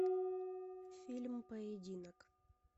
фильм поединок